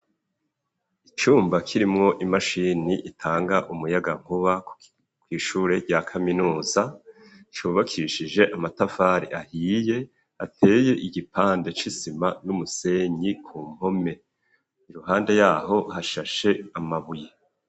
Icumba, kirimwo imashini, itanga umuyagankuba, kw'ishuri rya kaminuza; cubakishije amatafari ahiye, ateye igipande, c'isima n'umusenyi, ku mpome; iruhande y'aho, hashashe amabuye.